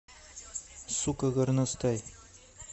сука горностай